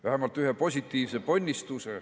Vähemalt üks positiivne ponnistus.